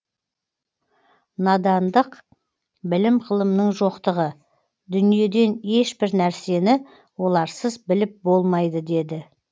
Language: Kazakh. надандық білім ғылымның жоқтығы дүниеден ешбір нәрсені оларсыз біліп болмайды дейді